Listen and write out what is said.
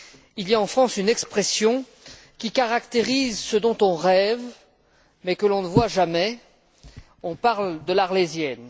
Il y a en France une expression qui caractérise ce dont on rêve mais que l'on ne voit jamais, on parle de l'Arlésienne.